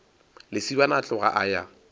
lesibana a tloga a ya